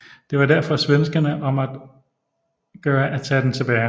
Det var derfor svenskerne om at gøre at tage den tilbage